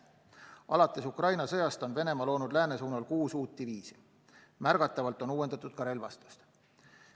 Alates Ukraina sõjast on Venemaa loonud lääne suunal kuus uut diviisi ja märgatavalt uuendatud ka relvastust.